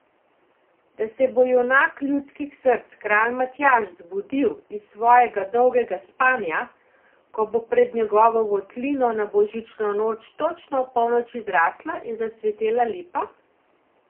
Da se bo junak ljudskih src kralj Matjaž zbudil iz svojega dolgega spanja, ko bo pred njegovo votlino na božično noč točno ob polnoči zrasla in zacvetela lipa?